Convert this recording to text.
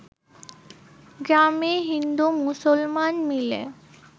গ্রামে হিন্দু-মুসলমান মিলে